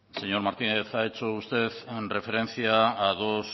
señor martínez ha hecho usted referencia a dos